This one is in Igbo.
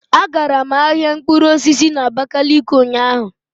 Agara m ahịa mkpụrụ osisi na abakaliki ụnyaahụ.